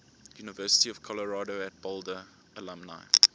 university of colorado at boulder alumni